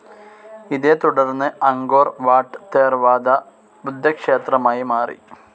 ഇതേത്തുടർന്ന് Angkor Wat Theravada ബുദ്ധക്ഷേത്രമായി മാറി.